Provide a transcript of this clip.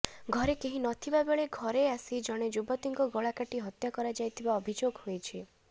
ଘରେ କେହି ନଥିବା ବେଳେ ଘରେ ଅସି ଜଣେ ଯୁବତୀଙ୍କ ଗଳାକାଟି ହତ୍ୟା କରାଯାଇଥିବା ଅଭିଯୋଗ ହୋଇଛି